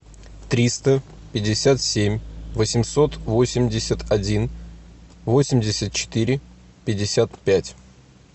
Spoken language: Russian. триста пятьдесят семь восемьсот восемьдесят один восемьдесят четыре пятьдесят пять